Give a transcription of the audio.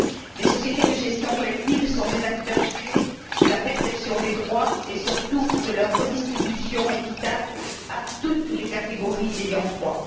Les sociétés de gestion collective sont des acteurs clés de la perception des droits et surtout de leur redistribution équitable à toutes les catégories d'ayants droit.